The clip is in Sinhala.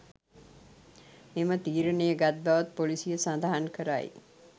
මෙම තීරණය ගත් බවත් පොලීසිය සඳහන් කරයි.